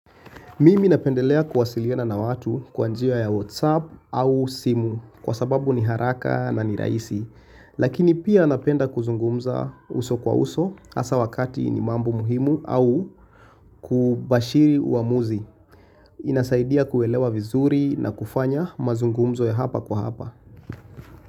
Mimi napendelea kuwasiliona na watu kwanjiwa ya WhatsApp au simu kwa sababu ni haraka na ni raisi. Lakini pia napenda kuzungumza uso kwa uso asa wakati ni mambu muhimu au kubashiri uamuzi. Inasaidia kuelewa vizuri na kufanya mazungumzo ya hapa kwa hapa.